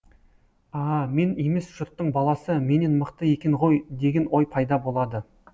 аааа мен емес жұрттың баласы менен мықты екен ғой деген ой пайда болады